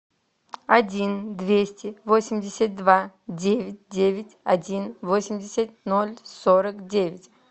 один двести восемьдесят два девять девять один восемьдесят ноль сорок девять